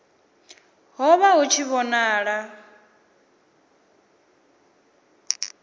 ho vha hu tshi vhonala